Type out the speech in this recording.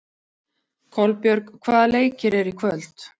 Kolbjörg, hvaða leikir eru í kvöld?